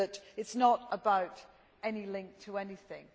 It is not about any link to anything.